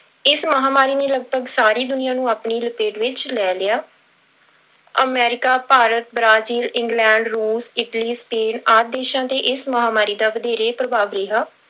ਇਸ ਮਹਾਂਮਾਰੀ ਨੇ ਲਗਪਗ ਸਾਰੀ ਦੁਨੀਆ ਨੂੰ ਆਪਣੀ ਲਪੇਟ ਵਿੱਚ ਲੈ ਲਿਆ ਅਮੈਰਿਕਾ, ਭਾਰਤ, ਬ੍ਰਾਜ਼ੀਲ, ਇੰਗਲੈਂਡ, ਰੂਸ, ਇਟਲੀ, ਸਪੇਨ ਆਦਿ ਦੇਸਾਂ ਤੇ ਇਸ ਮਹਾਂਮਾਰੀ ਦਾ ਵਧੇਰੇ ਪ੍ਰਭਾਵ ਰਿਹਾ।